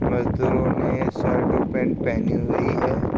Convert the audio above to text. मजदूरों ने शर्ट और पैंट पहनी हुई है।